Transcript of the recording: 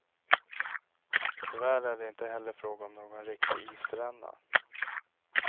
Tyvärr är det inte heller fråga om någon riktig isränna.